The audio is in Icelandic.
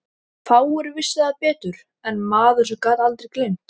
Fáir vissu það betur en maður sem gat aldrei gleymt.